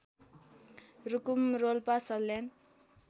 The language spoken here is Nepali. रुकुम रोल्पा सल्यान